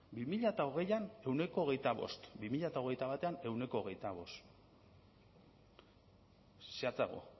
bi mila hogeian ehuneko hogeita bost bi mila hogeita batean ehuneko hogeita bost zehatzago